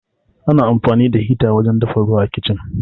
Ana amfani da hita wajen dafa ruwa a Kicin.